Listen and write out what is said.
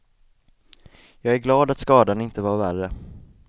Jag är glad att skadan inte var värre.